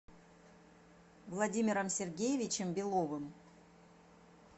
владимиром сергеевичем беловым